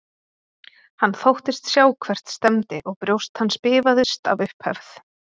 Hann þóttist sjá hvert stefndi og brjóst hans bifaðist af upphefð.